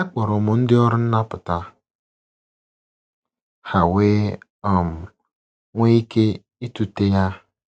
Akpọrọ m ndị ọrụ nnapụta, ha wee um nwee ike ịtụte ya.